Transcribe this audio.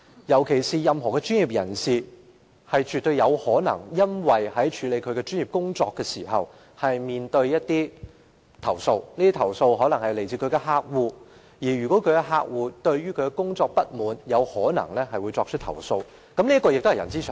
任何專業人士均絕對有可能在處理其專業工作時被投訴，而這些投訴可能是來自客戶，因為客戶不滿其工作表現便會作出投訴，這亦是人之常情。